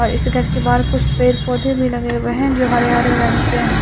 और इस गेट के बाहर कुछ पेड़ पौधे भी लगे हुए हैं जो हरे-हरे रंग के है।